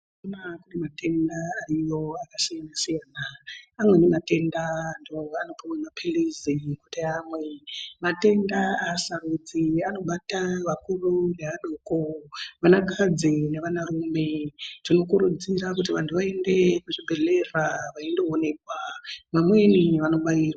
Matenda ayoo akasiyana siyana amweni matenda anopiwe mapilitsi ekuti amwe matenda aasarudzi anobata vakuru nevadoko vana kadzi nevana rume tinokurudzira kuti vandu vaende kuzvibhedhlera veyindooneka vamweni vandoobayirwa.